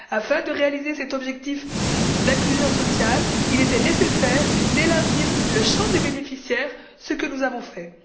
Afin de réaliser cet objectif d'inclusion sociale, il était nécessaire d'élargir le champ des bénéficiaires, ce que nous avons fait.